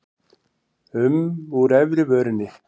um úr efri vörinni.